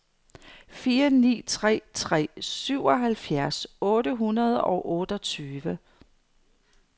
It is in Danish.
fire ni tre tre syvoghalvfjerds otte hundrede og otteogtyve